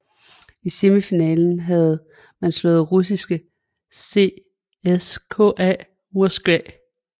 I semifinalen havde man slået russiske CSKA Moskva